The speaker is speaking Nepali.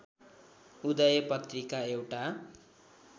उदय पत्रिका एउटा